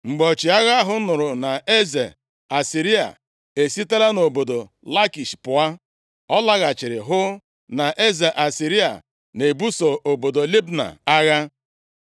Mgbe ọchịagha ahụ nụrụ na eze Asịrịa e sitela nʼobodo Lakish pụa, ọ laghachiri hụ na eze Asịrịa na-ebuso obodo Libna agha.